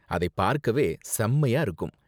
அதைப் பார்க்கவே செம்மயா இருக்கும்.